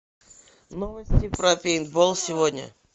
новости про пейнтбол сегодня